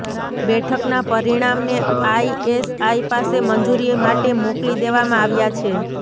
બેઠકના પરિણામને આઇએસઆઇ પાસે મંજુરી માટે મોકલી દેવામાં આવ્યા છે